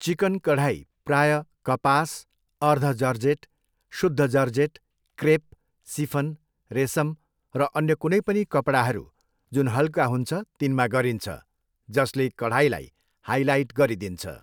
Chicken कढाई प्रायः कपास, अर्ध जर्जेट, शुद्ध जर्जेट, क्रेप, सिफन, रेसम र अन्य कुनै पनि कपडाहरू, जुन हल्का हुन्छ तिनमा गरिन्छ, जसले कढाईलाई हाइलाइट गरिदिन्छ।